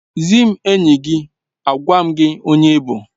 Zị m enyi, agwa m gị onye ị bụ